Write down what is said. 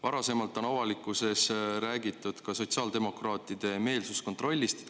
Varasemalt on avalikkuses räägitud ka sotsiaaldemokraatide soovitud meelsuskontrollist.